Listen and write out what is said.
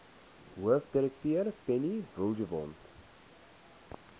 hoofdirekteur penny vinjevold